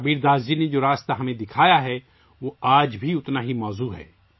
کبیرداس جی کا دکھایا ہوا راستہ آج بھی اتنا ہی اہم ہے